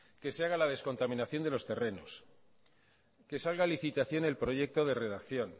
que se haga la descontaminación de los terrenos que salga a licitación el proyecto de redacción